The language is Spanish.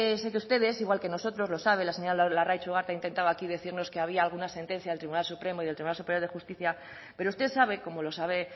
sé que ustedes igual que nosotros lo sabe la señora larraitz ugarte ha intentado aquí decirnos que había alguna sentencia del tribunal supremo y del tribunal superior de justicia pero usted sabe como lo sabe